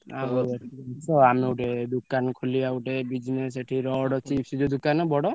ଆମେ ଗୋଟେ ଦୋକାନ ଖୋଲିଆ ଗୋଟେ business ସେଠି ରଡ ଅଛି ଦୋକାନ ବଡ।